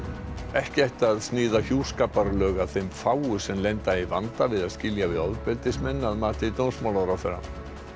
ekki ætti að sníða hjúskaparlög að þeim fáu sem lenda í vanda við að skilja við ofbeldismenn að mati dómsmálaráðherra